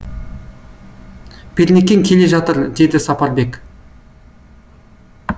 пернекең келе жатыр деді сапарбек